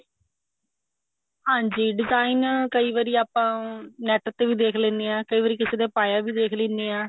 ਹਾਂਜੀ design ਕਈ ਵਾਰੀ ਆਪਾਂ NET ਤੇ ਵੀ ਦੇਖ ਲੇਣੇ ਆ ਕਈ ਵਾਰੀ ਕਿਸੇ ਦੇ ਪਾਇਆ ਵੀ ਦੇਖ ਲੇਣੇ ਆ ਆਪਾਂ market ਵਿੱਚ ਜਾਂਦੇ ਹਾਂ ਕੋਈ ਕਿਸੇ ਦੇ ਪਾਇਆ ਦੇਖਿਆ ਹੁੰਦਾ